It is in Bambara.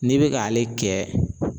N'i bɛ k'ale kɛ